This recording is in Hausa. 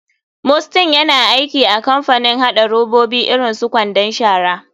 Mustyn yana aiki a kamapanin haɗa robabi irin su kwandon shara.